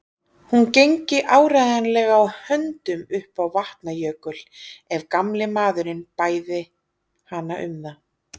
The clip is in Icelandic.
Hún gengi áreiðanlega á höndum upp á Vatnajökul ef gamli maðurinn bæði hana um það.